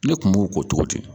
Ne kun b'o ko tɔgɔ di